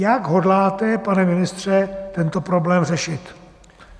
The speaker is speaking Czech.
Jak hodláte, pane ministře, tento problém řešit?